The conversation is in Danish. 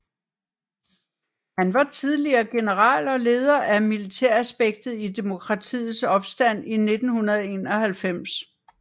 Han var tidligere general og leder af militæraspektet i demokratiets opstand i 1991